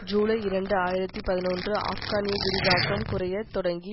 ஜூலை இரண்டு ஆயிரத்தி பதினொன்று ஆப்கானிய விரிவாக்கம் குறைய தொடங்கி